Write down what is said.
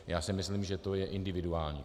Já si myslím, že to je individuální.